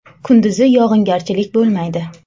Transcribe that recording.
Kunduzi yog‘ingarchilik bo‘lmaydi.